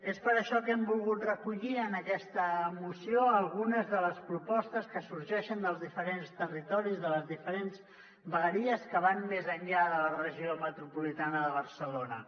és per això que hem volgut recollir en aquesta moció algunes de les propostes que sorgeixen dels diferents territoris de les diferents vegueries que van més enllà de la regió metropolitana de barcelona